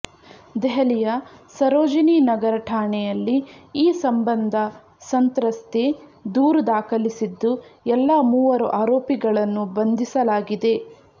ದೆಹಲಿಯ ಸರೋಜಿನಿ ನಗರ್ ಠಾಣೆಯಲ್ಲಿ ಈ ಸಂಬಂಧ ಸಂತ್ರಸ್ತೆ ದೂರು ದಾಖಲಿಸಿದ್ದು ಎಲ್ಲಾ ಮೂವರು ಆರೋಪಿಗಳನ್ನು ಬಂಧಿಸಲಾಗಿದೆ